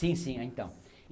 Sim, sim. eh então